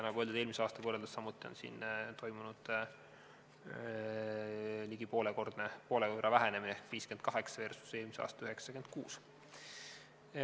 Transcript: Nagu öeldud, eelmise aastaga võrreldes on siin samuti toimunud vähenemine ligi poole võrra – 58 versus eelmise aasta 96.